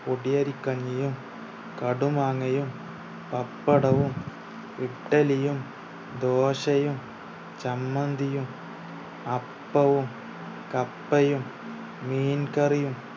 പൊടിയരി കഞ്ഞിയും കടുമാങ്ങയും പപ്പടവും ഇഡ്ഡലിയും ദോശയും ചമ്മന്തിയും അപ്പവും കപ്പയും മീൻകറിയും